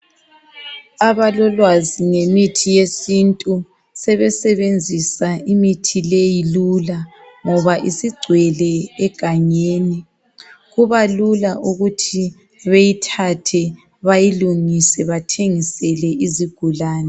Abalolwazi ngemithi yesintu sebesebenzisa imithi leyi lula ngoba isigcwele egangeni kubalula ukuthi beyithathe bayilungise bathengisele izigulani